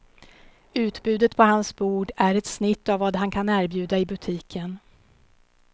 Utbudet på hans bord är ett snitt av vad han kan erbjuda i butiken.